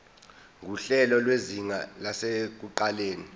nguhlelo lwezinga lasekuqaleni